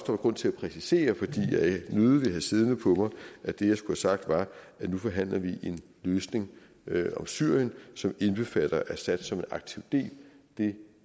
var grund til at præcisere fordi jeg nødigt vil have siddende på mig at det jeg skulle have sagt var at nu forhandler vi en løsning om syrien som indbefatter assad som en aktiv del det